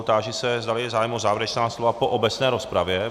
Táži se, zdali je zájem o závěrečná slova po obecné rozpravě.